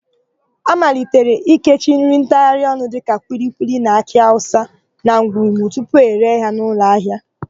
A malitere ikechi nri ntagharịọnụ dịka kwilikwili na akị awụsa na ngwungwu tupu ere ha n'ụlọahịa.